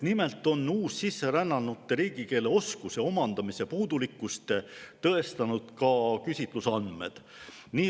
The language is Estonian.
Nimelt on uussisserännanute riigikeele oskuse omandamise puudulikkust tõestanud ka küsitlusandmed.